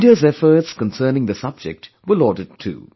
India's efforts concerning the subject were lauded too